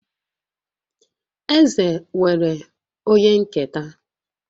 Eze nwere onye nketa